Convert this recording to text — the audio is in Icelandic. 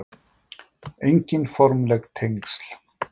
Engin formleg tengsl